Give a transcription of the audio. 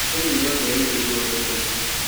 Thirikari nĩyongereire igoti mũno